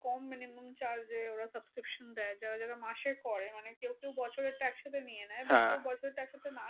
কম মানে charge এ ওরা subscription দেয় যারা যারা মাসে করে, মানে কেউ কেউ বছরের টা একসাথে নিয়ে নেয়। বছরটা একসাথে না